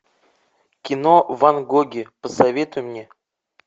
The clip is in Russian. кино ван гоги посоветуй мне